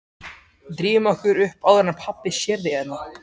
Drífum okkur upp áður en pabbi sér þig hérna